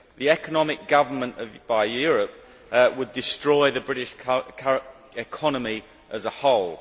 Economic governance by Europe would destroy the British economy as a whole.